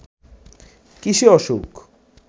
কিসে অসুখ